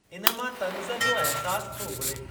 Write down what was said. इन मां तन्ज़ जो अहसासु थो उभिरे।